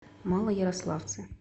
малоярославце